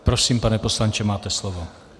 Prosím, pane poslanče, máte slovo.